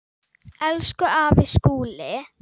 Elsku afi Skúli.